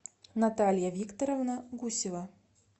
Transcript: наталья викторовна гусева